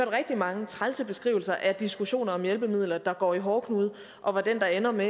rigtig mange trælse beskrivelser af diskussioner om hjælpemidler der går i hårdknude og hvor den der ender med